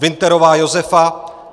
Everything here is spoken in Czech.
Winterová Josefa